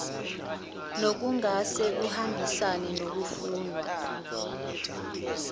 nokungase kuhambisane nokufunwa